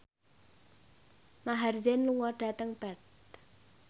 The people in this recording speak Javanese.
Maher Zein lunga dhateng Perth